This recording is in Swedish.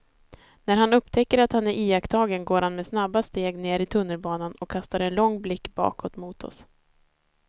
När han upptäcker att han är iakttagen går han med snabba steg ner i tunnelbanan och kastar en lång blick bakåt mot oss.